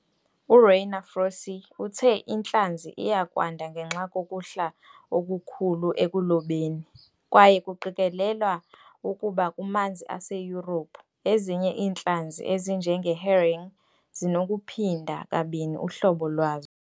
URainer Froese uthe intlanzi iya kwanda ngenxa kokuhla okukhulu ekulobeni, kwaye kuqikelelwa ukuba kumanzi aseYurophu, ezinye iintlanzi ezinjenge-herring zinokuphinda kabini uhlobo lwazo.